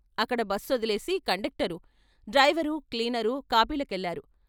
అక్కడ బస్సొదిలేసి conductor, driver, cleaner కాఫీల కెళ్ళారు.